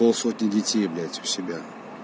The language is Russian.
полсотни детей блять у себя